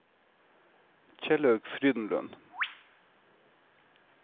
Kjellaug Frydenlund